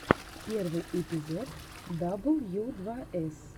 первый эпизод дабл ю два эс